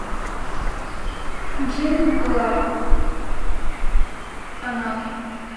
джим клаб канал